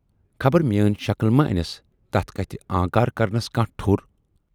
خبر میٲنۍ شکٕل ما انٮ۪س تتھ کتھِ آنکار کرنس کانہہ ٹھور۔